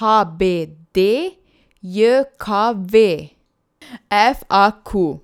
H B D J K V; F A Q.